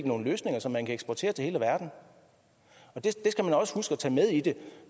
nogle løsninger som man kan eksportere til hele verden og det skal vi også huske at tage med i det